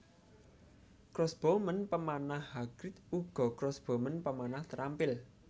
Crossbowman pemanah Hagrid uga crossbowman pemanah terampil